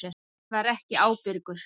Hann var ekki ábyrgur.